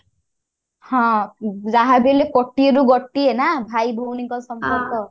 ହଁ ଉଁ ଯାହା ବି ହେଲେ କୋଟିଏ ରୁ ଗୋଟିଏ ନା ଭାଇ ଭଉଣୀ ଙ୍କ ସମ୍ପର୍କ